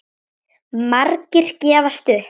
Margir gefast upp.